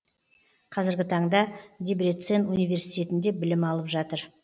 қазіргі таңда дебрецен университетінде білім алып жатыр